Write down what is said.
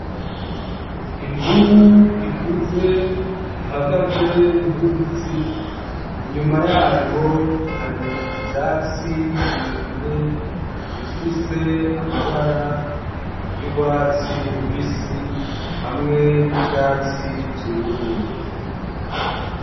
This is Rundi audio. Imvubu ikuze ihagaze muruzi. Inyuma yayo hari ivyatsi birebire bifise amabara y'urwatsi rubisi hamwe n'ivyatsi vyumye.